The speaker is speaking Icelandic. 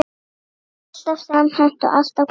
Alltaf samhent og alltaf glöð.